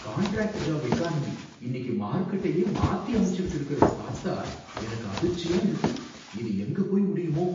Contract job economy இன்னிக்கு மார்கெட்டையே மாத்தி அமைச்சிகிட்டு இருக்கிறத பார்த்தா எனக்கு அதிர்ச்சியா இருக்கு! இது எங்க போய் முடியுமோ!